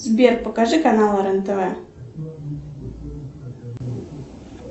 сбер покажи канал рен тв